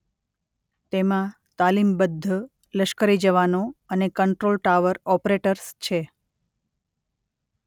તેમાં તાલીમબદ્ધ લશ્કરી જવાનો અને કન્ટ્રોલ ટાવર ઓપરેટર્સ છે.